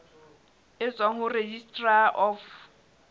e tswang ho registrar of